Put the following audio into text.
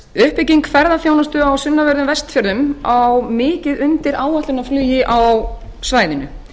uppbygging ferðaþjónustu á sunnanverðum vestfjörðum á mikið undir áætlunarflugi á svæðinu